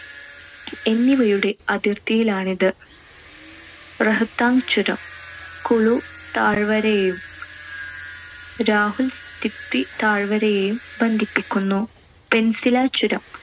എന്നിവയൂടെ അതിർത്തിയിലാണിത്. റൊഹ്താങ്ങ് ചുരം കുളു താഴ്‌വരയെയും ലാഹുൽ സ്പിതി താഴ്‌വരയേയും ബന്ധിപ്പിക്കുന്നു. പെൻസിലാ ചുരം